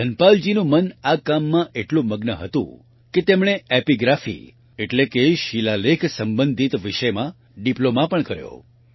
ધનપાલજીનું મન આ કામમાં એટલું મગ્ન હતું કે તેમણે એપિગ્રાફી એટલે કે શિલાલેખ સંબંધિત વિષયમાં ડિપ્લોમાં પણ કર્યો